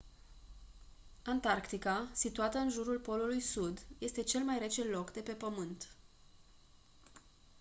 antarctica situată în jurul polului sud este cel mai rece loc de pe pământ